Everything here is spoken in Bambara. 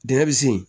Dingɛ bi se yen